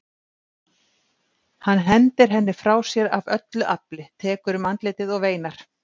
Hann hendir henni frá sér af öllu afli, tekur um andlitið og veinar.